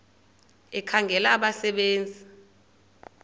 ekhangela abasebe nzi